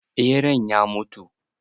Ɓeran ya mutu?